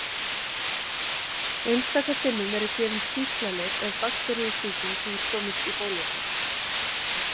Einstaka sinnum eru gefin sýklalyf ef bakteríusýking hefur komist í bólurnar.